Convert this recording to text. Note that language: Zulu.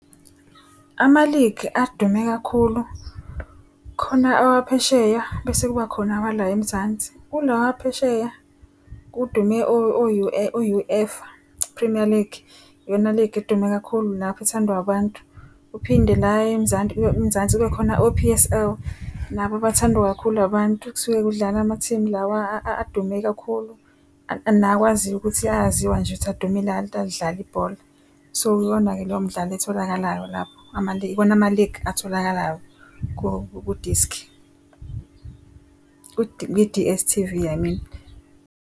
Ama-league adume kakhulu khona awaphesheya bese kuba khona awala eMzansi. Kulawa aphesheya kudume o-UEFA Premier League yona league edume kakhulu ethandwa abantu. Uphinde la eMzansi kube khona o-P_S_L nabo abathandwa kakhulu abantu. Kusuke kudlala amathimu lawa adume kakhulu nawaziyo ukuthi ayaziwa nje ukuthi adumile ayalidlala ibhola. So iwona-ke leyo mdlalo etholakalayo lapho iwona ama-League atholakalayo kudiski, kwi-D_S_T_V I mean.